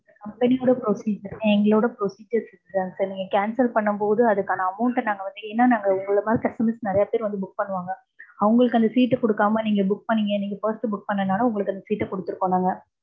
company ஓட procedure. எங்களோட procedure sir. நீங்க cancel பண்ணும் போது அதுக்கான amount அ நாங்க வந்து, ஏன்னா நாங்க உங்கள மாரி customers நிறைய பேர் வந்து book பண்ணுவாங்க. அவுங்களுக்கு அந்த seat கொடுக்காம, நீங்க book பண்ணிங்க, நீங்க first book பண்ணதால, உங்களுக்கு அந்த seat அ குடுத்துருக்கோம் நாங்க.